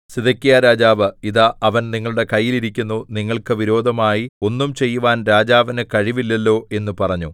സിദെക്കീയാരാജാവ് ഇതാ അവൻ നിങ്ങളുടെ കയ്യിൽ ഇരിക്കുന്നു നിങ്ങൾക്ക് വിരോധമായി ഒന്നും ചെയ്യുവാൻ രാജാവിനു കഴിവില്ലല്ലോ എന്ന് പറഞ്ഞു